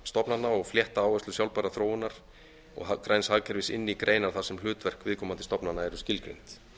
stofnana og flétta áherslur sjálfbærrar þróunar og græns hagkerfis inn í greinar þar sem hlutverk viðkomandi stofnana eru skilgreind